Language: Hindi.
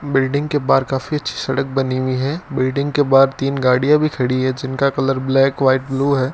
बिल्डिंग के बाहर काफी अच्छी सड़क बनी हुई है बिल्डिंग के बाहर तीन गाड़ियां भी खड़ी है जिनका कलर ब्लैक व्हाइट ब्लू है।